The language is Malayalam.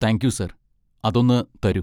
താങ്ക് യു, സാർ, അതൊന്ന് തരൂ.